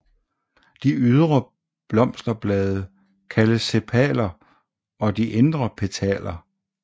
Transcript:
De ydre blosterblade kaldes sepaler og de indre petaler